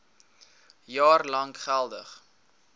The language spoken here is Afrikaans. jaar lank geldig